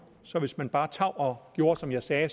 så hvis man bare tav og gjorde som jeg sagde